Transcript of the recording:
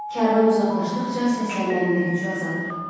Kərvan uzaqlaşdıqca səslənmənin də gücü azalır.